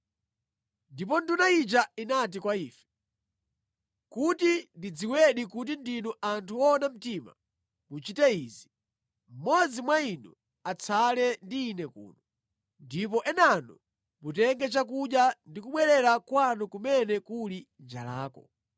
Ndipo nduna ija inati kwa ife, “Kuti ndidziwedi kuti ndinu anthu owona mtima muchite izi: Mmodzi mwa inu atsale ndi ine kuno, ndipo enanu mutenge chakudya ndi kubwerera kwanu kumene kuli njalako.